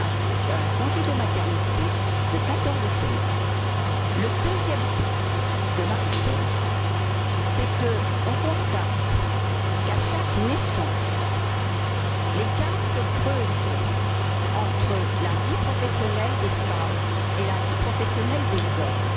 pour un congé de maternité de quatorze semaines. Le deuxième point de ma réponse, c'est qu'on constate qu'à chaque naissance, l'écart se creuse entre la vie professionnelle des femmes et la vie professionnelle des hommes.